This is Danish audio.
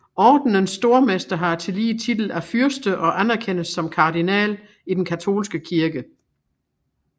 Ordenens Stormester har tillige titel af fyrste og anerkendes som kardinal i den katolske kirke